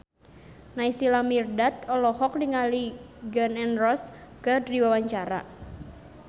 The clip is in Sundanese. Naysila Mirdad olohok ningali Gun N Roses keur diwawancara